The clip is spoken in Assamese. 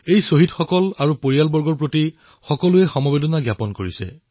শ্বহীদসকল তথা তেওঁলোকৰ পৰিয়ালৰ প্ৰতি চাৰিওফালৰ সমবেদনা উচ্চাৰিত হৈছে